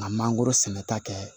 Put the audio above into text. Ka mangoro sɛnɛ ta kɛ